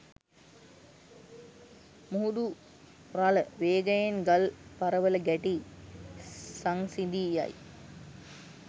මුහුදු රළ වේගයෙන් ගල් පරවල ගැටී සංසිඳී යයි.